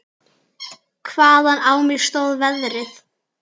Hvaðan á mig stóð veðrið.